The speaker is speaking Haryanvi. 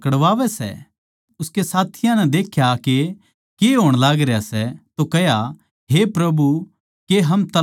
उसकै साथियां नै जद देख्या के के होण आळा सै तो कह्या हे प्रभु के हम तलवार चलावां